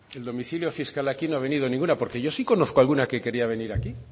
el domicilio fiscal aquí no ha venido ninguna porque yo sí conozco alguna que quería venir aquí